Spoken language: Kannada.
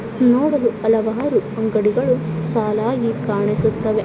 ನೋಡಲು ಹಲವಾರು ಅಂಗಡಿಗಳು ಸಾಲಾಗಿ ಕಾಣಿಸುತ್ತವೆ.